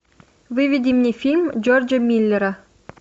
выведи мне фильм джорджа миллера